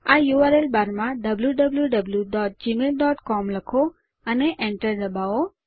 આ URL bar માં wwwgmailcom લખો અને Enter દબાવો